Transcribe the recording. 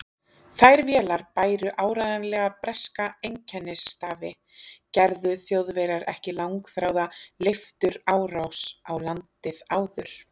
Þær vélar bæru áreiðanlega breska einkennisstafi, gerðu Þjóðverjar ekki langþráða leifturárás á landið áður.